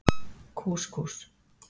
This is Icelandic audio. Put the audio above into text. Kús Kús.